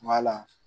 Kuma la